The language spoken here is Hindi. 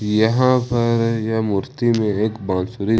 यहां पर यह मूर्ति में एक बांसुरी--